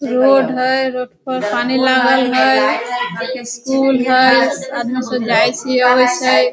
Road हैय road पर पानी लागल हय स्कूल हय आदमी सब जाय से आवय सै।